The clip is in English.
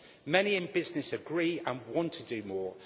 Many in business agree and want to do more.